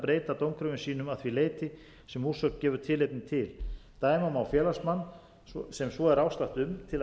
breyta dómkröfum sínum að því leyti sem úrsögn gefur tilefni til dæma má félagsmann sem svo er ástatt um